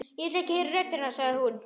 Ég vil heyra rödd hennar, sagði hún.